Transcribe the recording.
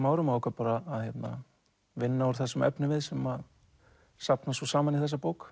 árum og ákvað að vinna úr þessum efnivið sem safnast svo saman í þessa bók